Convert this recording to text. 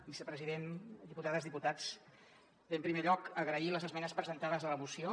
vicepresident diputades diputats bé en primer lloc agrair les esmenes presentades a la moció